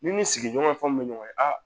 N'i ni sigiɲɔgɔnw bɛ ɲɔgɔn ye a